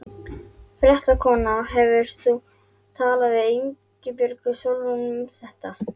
Fréttakona: Hefur þú talað við Ingibjörgu Sólrúnu um þetta?